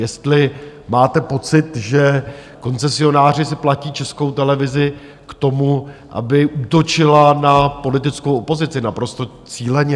Jestli máte pocit, že koncesionáři si platí Českou televizi k tomu, aby útočila na politickou opozici naprosto cíleně?